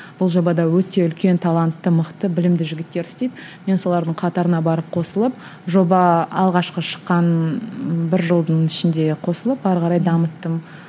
бұл жобада өте үлкен талантты мықты білімді жігіттер істейді мен солардың қатарына барып қосылып жоба алғашқы шыққан ы бір жылдың ішінде қосылып ары қарай дамыттым